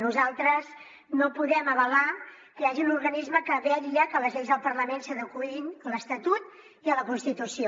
nosaltres no podem avalar que hi hagi un organisme que vetlla perquè les lleis del parlament s’adeqüin a l’estatut i a la constitució